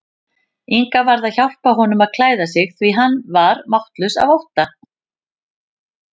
Inga varð að hjálpa honum að klæða sig því hann var máttlaus af ótta.